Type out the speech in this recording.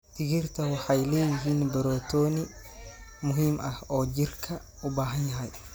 Digirta waxay leeyihiin borotiin muhiim ah oo jirka u baahan yahay.